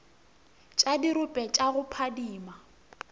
tša dirope tša go phadima